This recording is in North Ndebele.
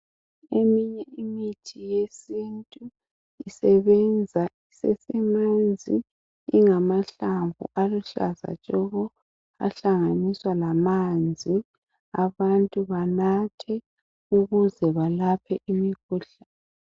Eminye imithi yesintu isebenza isesemanzi, engamahlamvu uluhlaza tshoko ahlanganiswa lamanzi abantu banathe ukuze labaphe imikhuhlane.